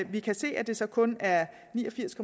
vi kan se at det så kun er ni og firs